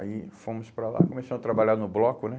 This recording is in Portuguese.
Aí fomos para lá, começamos a trabalhar no bloco, né?